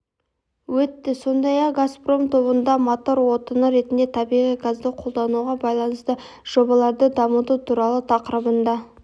өтті сондай-ақ газпром тобында мотор отыны ретінде табиғи газды қолдануға байланысты жобаларды дамыту туралы тақырыбында